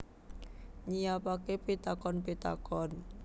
Nyiapake pitakon pitakon